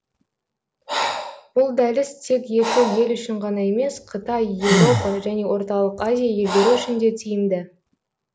бұл дәліз тек екі ел үшін ғана емес қытай еуропа және орталық азия елдері үшін де тиімді